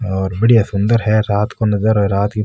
और बढ़िया सुन्दर है रात को नजारो है रात की --